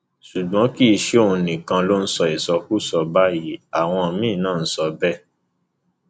ṣùgbọn kì í ṣe òun nìkan ló ń sọ ìsọkúsọ báyìí àwọn míín náà ń sọ bẹẹ